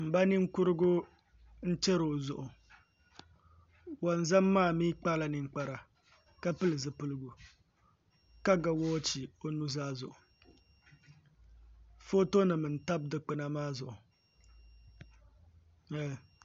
N ba ninkurigu n chɛri o zuɣu wonzam maa mii kpala ninkpara ka pili zipiligu ka ga woochi o nuzaa zuɣu foto nim n tabi dikpuna maa zuɣu